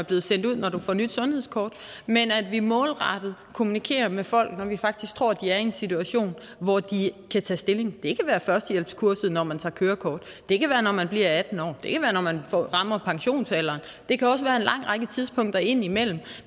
bliver sendt ud når du får nyt sundhedskort men at vi målrettet kommunikerer med folk når vi faktisk tror de er i en situation hvor de kan tage stilling det kan være på førstehjælpskurset når man tager kørekort det kan være når man bliver atten år det kan være når man rammer pensionsalderen og det kan også være en lang række tidspunkter ind imellem